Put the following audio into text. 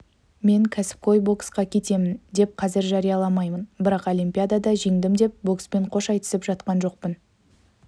мен кәсіпқой боксқа кетемін деп қазір жарияламаймын бірақ олимпиадада жеңдім деп бокспен қош айтысып жатқан жоқпын